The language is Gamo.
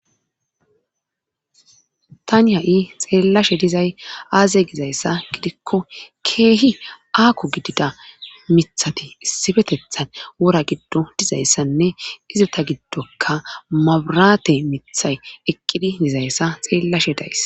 Tani ha'i xeellashe dizay aaze gizayssa gidikko keehi aaku gidida mithati issifetethan wora giddo dizayssanne izita giddoka maburaate mithay eqqidi dizayssa xeellashe days.